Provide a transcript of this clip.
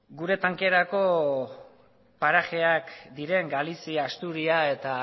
gure tankerako parajeak diren galizia asturias eta